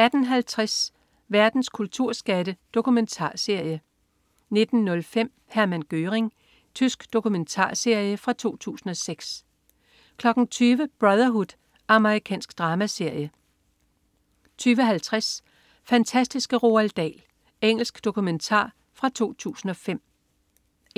18.50 Verdens kulturskatte. Dokumentarserie 19.05 Hermann Göring. Tysk dokumentarserie fra 2006 20.00 Brotherhood. Amerikansk dramaserie 20.50 Fantastiske Roald Dahl. Engelsk dokumentar fra 2005